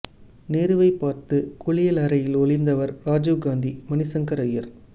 நேருவைப் பார்த்து குளியலறையில் ஒளிந்தவர் ராஜீவ் காந்தி மணி சங்கர் ஐயர்